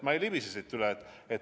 Ma ei libise siit üle.